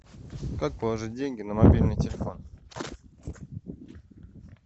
как положить деньги на мобильный телефон